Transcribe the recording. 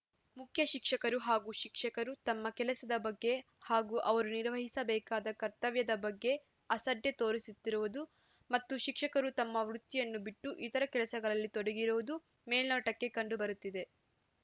ಮುಖ್ಯ ಶಿಕ್ಷಕರು ಹಾಗೂ ಶಿಕ್ಷಕರು ತಮ್ಮ ಕೆಲಸದ ಬಗ್ಗೆ ಹಾಗೂ ಅವರು ನಿರ್ವಹಿಸಬೇಕಾದ ಕರ್ತವ್ಯದ ಬಗ್ಗೆ ಅಸಡ್ಡೆ ತೋರಿಸುತ್ತಿರುವುದು ಮತ್ತು ಶಿಕ್ಷಕರು ತಮ್ಮ ವೃತ್ತಿಯನ್ನು ಬಿಟ್ಟು ಇತರೆ ಕೆಲಸಗಳಲ್ಲಿ ತೊಡಗಿರುವುದು ಮೇಲ್ನೋಟಕ್ಕೆ ಕಂಡು ಬರುತ್ತಿದೆ